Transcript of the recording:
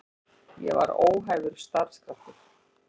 Ég var óhæfur starfskraftur.